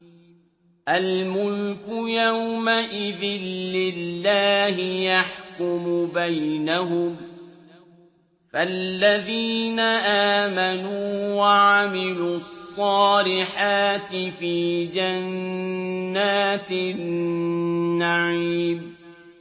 الْمُلْكُ يَوْمَئِذٍ لِّلَّهِ يَحْكُمُ بَيْنَهُمْ ۚ فَالَّذِينَ آمَنُوا وَعَمِلُوا الصَّالِحَاتِ فِي جَنَّاتِ النَّعِيمِ